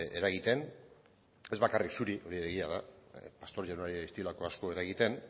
eragiten ez bakarrik zuri hori egia da pastor jaunari ez diolako asko eragiten